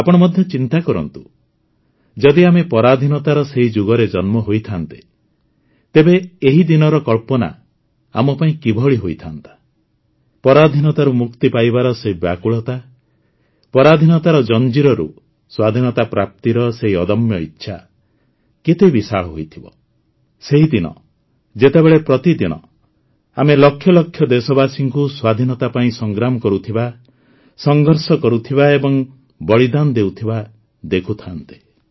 ଆପଣ ମଧ୍ୟ ଚିନ୍ତା କରନ୍ତୁ ଯଦି ଆମେ ପରାଧୀନତାର ସେହି ଯୁଗରେ ଜନ୍ମ ହୋଇଥାଆନ୍ତେ ତେବେ ଏହି ଦିନର କଳ୍ପନା ଆମ ପାଇଁ କିଭଳି ହୋଇଥାଆନ୍ତା ପରାଧୀନତାରୁ ମୁକ୍ତି ପାଇବାର ସେହି ବ୍ୟାକୁଳତା ପରାଧୀନତାର ଶୃଙ୍ଖଳରୁ ବାହାରି ସ୍ୱାଧୀନତା ପ୍ରାପ୍ତିର ସେହି ଅଦମ୍ୟ ଇଚ୍ଛା କେତେ ବିଶାଳ ହୋଇଥିବ ସେହି ସମୟ ଯେତେବେଳେ ପ୍ରତିଦିନ ଆମେ ଲକ୍ଷ ଲକ୍ଷ ଦେଶବାସୀଙ୍କୁ ସ୍ୱାଧୀନତା ପାଇଁ ସଂଗ୍ରାମ କରୁଥିବା ସଂଘର୍ଷ କରୁଥିବା ଓ ବଳିଦାନ ଦେଉଥିବା ଦେଖୁଥାଆନ୍ତେ